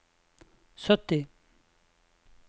sytti